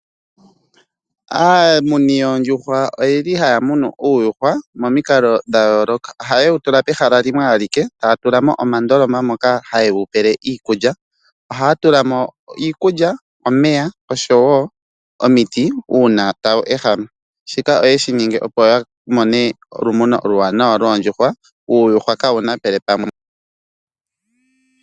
Aamuni yoondjuhwa oyeli haya munu uuyuhwa momikalo dha yooloka. Ohaye wu tula pehala limwe alike etaya tula mo omandoloma moka haye wu pele iikulya. Ohaya tula mo iikulya, omeya oshowo omiti uuna tawu ehama. Shika oyeshi ninga opo ya mone olumuno oluwanawa lyuuyuhwa, uuyuhwa kaawu napele pamwe nooyina.